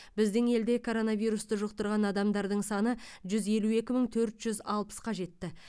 біздің елде коронавирусты жұқтырған адамдардың саны жүз елу екі мың төрт жүз алпысқа жетті